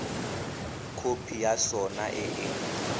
khopi ya sona e e